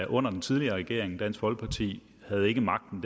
under den tidligere regering dansk folkeparti havde ikke magten